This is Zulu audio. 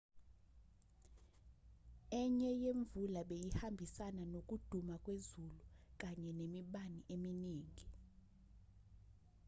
enye yemvula beyihambisana nokuduma kwezulu kanye nemibani eminingi